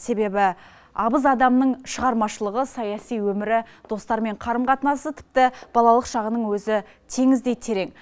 себебі абыз адамның шығармашылығы саяси өмірі достарымен қарым қатынасы тіпті балалық шағының өзі теңіздей терең